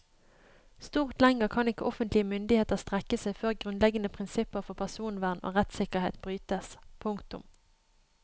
Stort lenger kan ikke offentlige myndigheter strekke seg før grunnleggende prinsipper for personvern og rettssikkerhet brytes. punktum